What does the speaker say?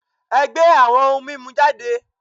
E̩gbé awo̩n oun mimu jade